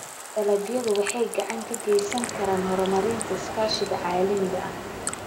Dalagyadu waxay gacan ka geysan karaan horumarinta iskaashiga caalamiga ah.